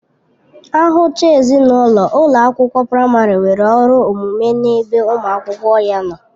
Ahụchaa ezinụlọ, ụlọ akwụkwọ praịmarị nwere ọrụ omume n'ebe ụmụ akwụkwọ ya nọ